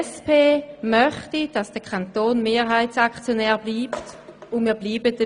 Die SP-JUSO-PSA-Fraktion möchte, dass der Kanton Mehrheitsaktionär bleibt, und wir bleiben dabei.